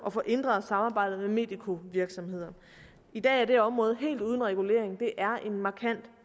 at få ændret samarbejdet med medikovirksomheder i dag er det område helt uden regulering det er en markant